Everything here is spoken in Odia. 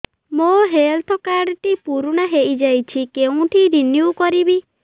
ମୋ ହେଲ୍ଥ କାର୍ଡ ଟି ପୁରୁଣା ହେଇଯାଇଛି କେଉଁଠି ରିନିଉ କରିବି